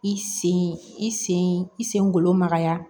I sen i sen i sen golo magaya